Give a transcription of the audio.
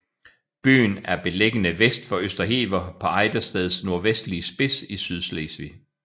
Byen er beliggende vest for Østerhever på Ejdersteds nordvestligste spids i Sydslesvig